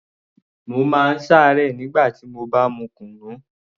Mo má ń ṣe àárẹ̀ nígbà tí mo bá mu kunu